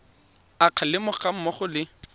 a kgalemo ga mmogo le